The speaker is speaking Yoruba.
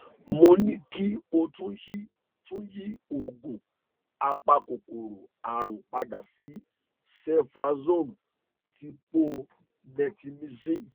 mo ní kí o tún yí tún yí oògùn apakòkòrò àrùn padà sí ceftriaxone dípò netilmicin